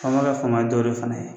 Faama bɛ faama dɔw de fana ye